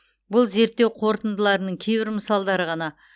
бұл зерттеу қорытындыларының кейбір мысалдары ғана